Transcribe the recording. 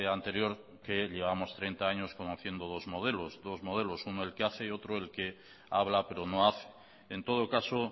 anterior que llevamos treinta años conociendo dos modelos uno el que hace y otro el que habla pero no hace en todo caso